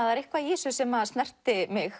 það er eitthvað í þessu sem snerti mig